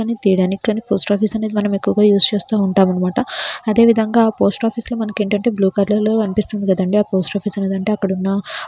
తీయడానికి కానీ post office అనేది మనము ఎక్కువగా యూస్ చేస్తూ ఉంటాము అన్నమాట. అదే విధంగా పోస్ట్ ఆఫీస్ లో మనకి ఏంటంటే బ్లూ కలర్ లో కనిపిస్తుంది కదండీ. ఆ పోస్ట్ ఆఫీస్ అనేది అక్కడున్న --